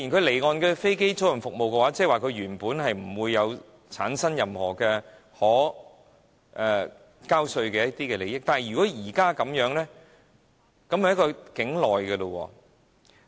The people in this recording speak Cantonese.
離岸的飛機租賃服務，即它原本不會產生任何可稅務的利益，但如果現時這樣的情況就是包含了境內的經營者了。